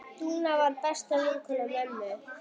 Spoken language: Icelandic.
Dúna var besta vinkona mömmu.